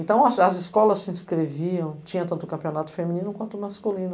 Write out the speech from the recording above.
Então, as as escolas se descreviam, tinha tanto campeonato feminino quanto masculino.